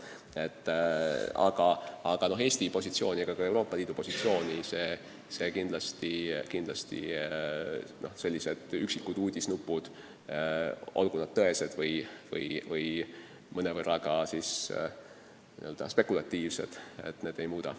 Ent Eesti ega ka Euroopa Liidu positsiooni see kõik – olgu sellised üksikud uudisnupud tõesed või mõnevõrra spekulatiivsed – kindlasti ei muuda.